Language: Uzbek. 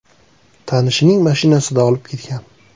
tanishining mashinasida olib ketgan.